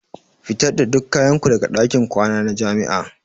Fitar da duk kayan ku daga ɗakin kwana na jami'a.